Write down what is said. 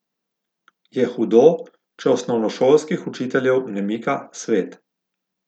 Je hudo, če osnovnošolskih učiteljev ne mika svet?